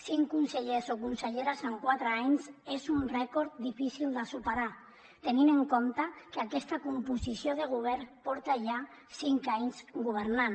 cinc consellers o conselleres en quatre anys és un rècord difícil de superar tenint en compte que aquesta composició de govern porta ja cinc anys governant